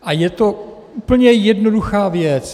A je to úplně jednoduchá věc.